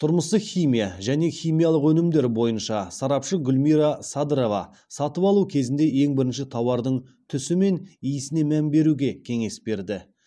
тұрмыстық химия және химиялық өнімдер бойынша сарапшы гүлмира садырова сатып алу кезінде ең бірінші тауардың түсі мен иісіне мән беруге кеңес берді